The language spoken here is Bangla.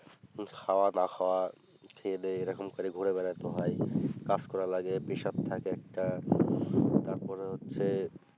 খাওয়া না খাওয়া খেয়েদেয়ে এইরকম করে ঘুরে বেড়াতে হয় কাজ করা লাগে pressure থাকে একটা তারপরে হচ্ছে